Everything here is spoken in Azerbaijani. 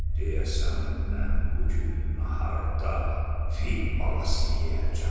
Deyəsən, mən bu gün naharda fil balası yeyəcəm.